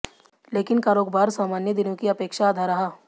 लेकिन कारोबार सामान्य दिनों की अपेक्षा आधा रहा